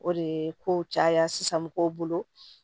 O de ye kow caya sisan mɔgɔw bolo